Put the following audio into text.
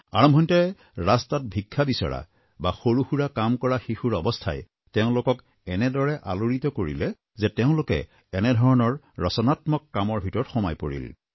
আৰম্ভণিতে ৰাস্তাত ভিক্ষা বিচৰা বা সৰুসুৰা কাম কৰা শিশুৰ অৱস্থাই তেওঁলোকক এনেদৰে আলোড়িত কৰিলে যে তেওঁলোকে এনেধৰণৰ ৰচনাত্মক কামৰ ভিতৰত সোমাই পৰিল